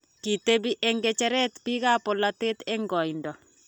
kitebi eng' ng'echere biikab polatet eng' koindo.